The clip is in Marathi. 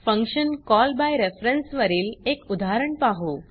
फंक्शन कॉल बाय रेफरन्स वरील एक उदाहरण पाहु